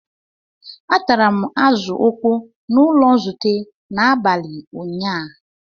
Atara m Azu okpoo n'ulo nzute n'abali nyaa